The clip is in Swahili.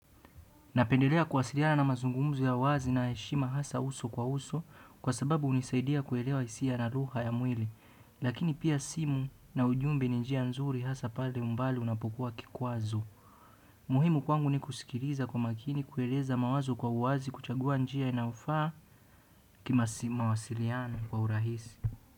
Napendelea kuwasiliana na mazungumzo ya wazi na heshima hasa uso kwa uso kwa sababu hunisaidia kuelewa hisia na lugha ya mwili lakini pia simu na ujumbe ni njia nzuri hasa pale umbali unapokuwa kikwazo. Muhimu kwangu ni kusikiliza kwa umakini kueleza mawazo kwa uwazi kuchagua njia inayofaa kima simu mawasiliano kwa urahisi.